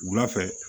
Wula fɛ